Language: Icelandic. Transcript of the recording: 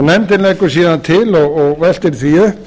nefndin leggur síðan til og veltir því upp